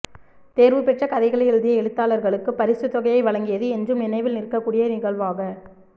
தேர்வுபெற்ற கதைகளை எழுதிய எழுத்தாளர்களுக்குப் பரிசுத்தொகையை வழங்கியது என்றும் நினைவில் நிற்கக் கூடிய நிகழ்வாக